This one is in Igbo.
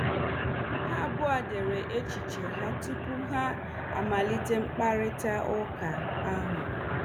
Ha abụọ dere echiche ha tupu ha amalite mkparịta ụka ahụ.